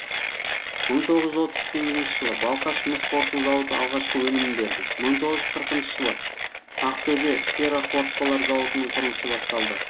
мың тоғыз жүз отыз сегізінші жылы балқаш мыс қорыту зауыты алғашқы өнімін берді мың тоғыз жүз қырықыншы жылы ақтөбе ферроқорытпалар зауытының құрылысы басталды